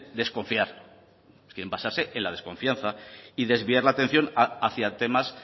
desconfiar quieren basarse en la desconfianza y desviar la atención hacia temas